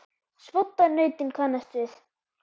svoddan nautin kannast við.